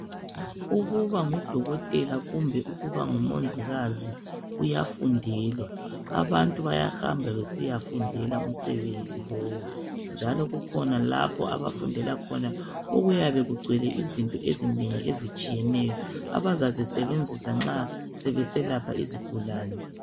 Ukuba ngudokotela kumbe ukuba ngumongikazi kuyafundelwa. Abantu bayahamba besiyafundela umsebenzi lowo njalo kukhona lapho abafundela khona okuyabe kugcwele izinto ezinengi ezitshiyeneyo abazazisebenzisa nxa sebeselapha izigulane.